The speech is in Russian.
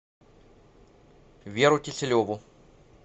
веру киселеву